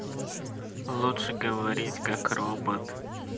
лучше говорить как робот